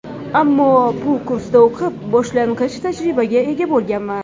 Ammo bu kursda o‘qib, boshlang‘ich tajribaga ega bo‘lganman.